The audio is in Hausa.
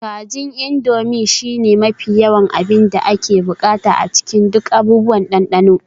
Kajin Indomie shine mafi yawan abin da ake buƙata a cikin duk abubuwan dandano